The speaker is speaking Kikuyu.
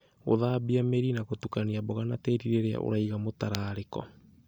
Gũthambia mĩri na gũtukania mboga na tĩĩri rĩrĩa ũraiga mũtararĩko